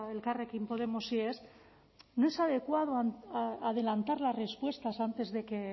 elkarrekin podemosi ez no es adecuado adelantar las respuestas antes de que